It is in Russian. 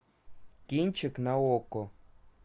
кинчик на окко